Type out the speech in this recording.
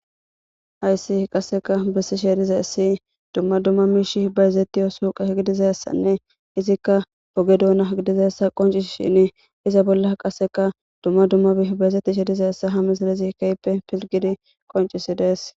Hayssi qasseka bessi sheedizayssi dumma dumma miish hbayzettiyo suuqe gidizassanne izikka poge duuna gidizassa qoncis shin iza bolla qasseka dumma dumma bih bayzetti sheedizayssa ha mis lezikeyppe pilgidi qoncisi dees